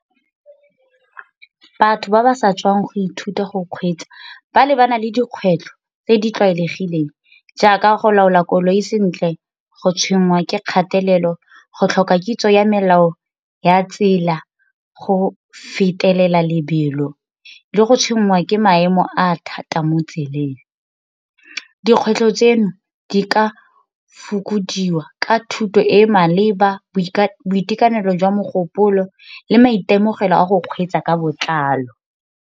Batho ba ba sa tswang go ithuta go kgweetsa ba lebana le dikgwetlho tse di tlwaelegileng jaaka go laola koloi sentle, go tshwenngwa ke kgatelelo, go tlhoka kitso ya melao ya tsela, go fetelela lebelo, le go tshwenngwa ke maemo a thata mo tseleng. Dikgwetlho tseno di ka fokodiwa ka thuto e e maleba, boitekanelo jwa mogopolo, le maitemogelo a go kgweetsa ka botlalo.